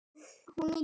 Hún nýtir hveri í